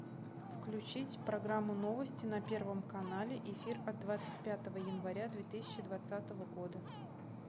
включить программу новости на первом канале эфир от двадцать пятого января две тысячи двадцатого года